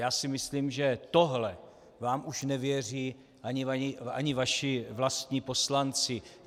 Já si myslím, že tohle vám už nevěří ani vaši vlastní poslanci.